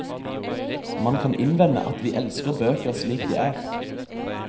Man kan innvende at vi elsker bøker slik de er.